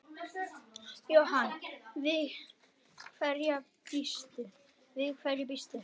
Jóhann: Við hverju býstu?